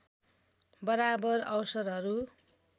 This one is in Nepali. बराबर अवसरहरू